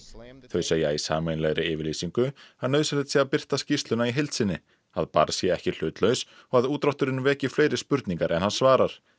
þau segja í sameiginlegri yfirlýsingu að nauðsynlegt sé að birta skýrsluna í heild sinni að barr sé ekki hlutlaus og að útdrátturinn veki fleiri spurningar en hann svarar